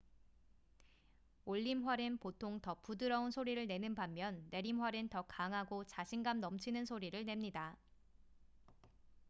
올림활은 보통 더 부드러운 소리를 내는 반면 내림활은 더 강하고 자신감 넘치는 소리를 냅니다